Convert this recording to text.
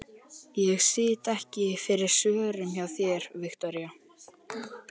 Ég sit ekki fyrir svörum hjá þér, Viktoría.